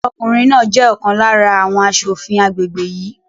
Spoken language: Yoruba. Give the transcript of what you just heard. Ọkùnrin náà jẹ́ ọ̀kan lára àwọn asòfin agbègbè yìí